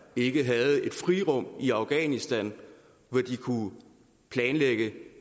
ikke havde et frirum i afghanistan hvor de kunne planlægge